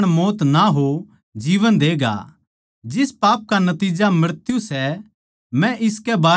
सारी ढाळ के बुरे काम तो पाप सै पर इसा पाप भी सै जिसका नतिज्जा मृत्यु कोनी